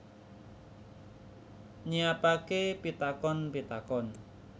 Nyiapake pitakon pitakon